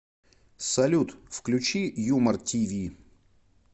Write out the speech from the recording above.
салют включи юмор ти ви